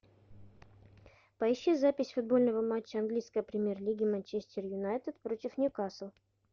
поищи запись футбольного матча английской премьер лиги манчестер юнайтед против ньюкасл